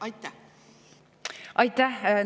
Aitäh!